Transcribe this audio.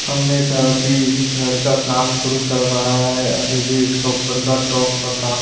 हम नेइ की इस घर का काम शुरू है अभी भी इसका ऊपर का टॉप का काम --